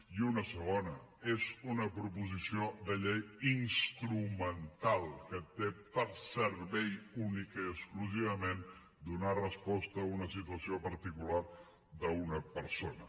i una segona és una proposició de llei instrumental que té per servei únicament i exclusivament donar resposta a una situació particular d’una persona